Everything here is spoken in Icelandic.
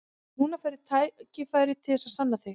En núna færðu tækifæri til að sanna þig.